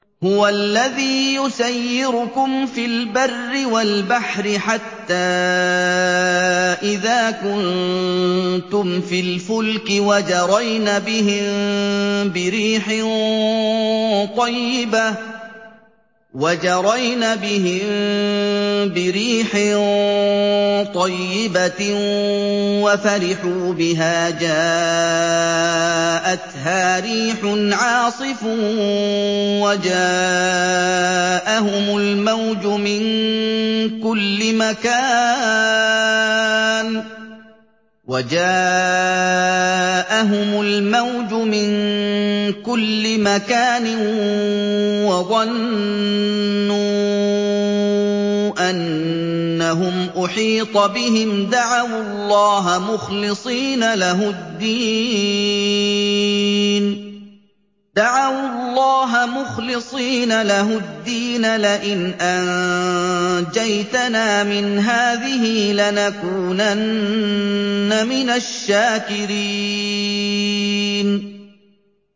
هُوَ الَّذِي يُسَيِّرُكُمْ فِي الْبَرِّ وَالْبَحْرِ ۖ حَتَّىٰ إِذَا كُنتُمْ فِي الْفُلْكِ وَجَرَيْنَ بِهِم بِرِيحٍ طَيِّبَةٍ وَفَرِحُوا بِهَا جَاءَتْهَا رِيحٌ عَاصِفٌ وَجَاءَهُمُ الْمَوْجُ مِن كُلِّ مَكَانٍ وَظَنُّوا أَنَّهُمْ أُحِيطَ بِهِمْ ۙ دَعَوُا اللَّهَ مُخْلِصِينَ لَهُ الدِّينَ لَئِنْ أَنجَيْتَنَا مِنْ هَٰذِهِ لَنَكُونَنَّ مِنَ الشَّاكِرِينَ